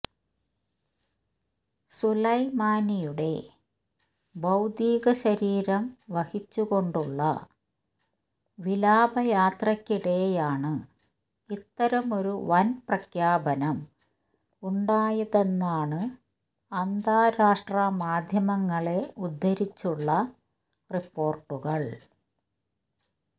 സുലൈമാനിയുടെ ഭൌതിക ശരീരം വഹിച്ചു കൊണ്ടുള്ള വിലാപ യാത്രയ്ക്കിടെയാണ് ഇത്തരമൊരു വൻ പ്രഖ്യാപനം ഉണ്ടായതെന്നാണ് അന്താരാഷ്ട്ര മാധ്യമങ്ങളെ ഉദ്ദരിച്ചുള്ള റിപ്പോർട്ടുകൾ